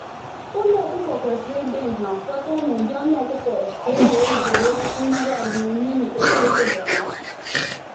Ụlọ ọkụkọ kwesịrị ịdị nha kwekọọ na ụdị anụ ọkụkọ ka e wee zere mmerụ ahụ́ n’ihi oke ịkụda ọnụ